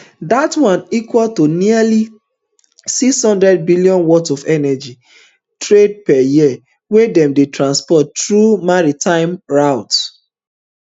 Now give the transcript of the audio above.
dat one equal to nearly six hundred billion worth of energy trade per year wey dem dey transport through maritime routes